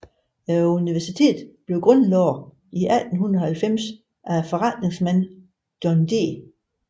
Universitetet blev grundlagt i 1890 af forretningsmanden John D